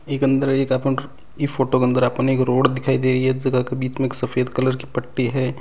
इक अन्दर एक आपणे इ फोटो के अंदर आपाने रोड दिखाई दे रही है जका के बीच में एक सफ़ेद कलर की पट्टी है।